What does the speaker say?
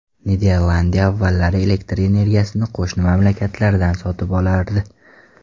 Niderlandiya avvallari elektr energiyasini qo‘shni mamlakatlardan sotib olardi.